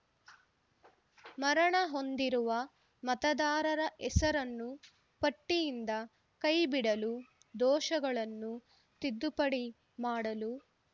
ಮರಣ ಹೊಂದಿರುವ ಮತದಾರರ ಹೆಸರನ್ನು ಪಟ್ಟಿಯಿಂದ ಕೈಬಿಡಲು ದೋಷಗಳನ್ನು ತಿದ್ದುಪಡಿ ಮಾಡಲು